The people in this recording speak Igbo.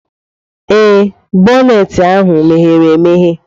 Ee, boneeti ahu meghere-emeghe.